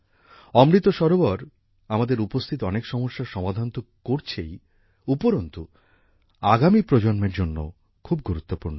অমৃত সরোবর আমাদের উপস্থিত অনেক সমস্যার সমাধান ত করছেই উপরন্তু আগামী প্রজন্মের জন্যও খুব গুরুত্বপূর্ণ